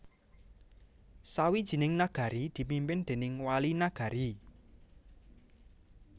Sawijining Nagari dipimpin déning Wali Nagari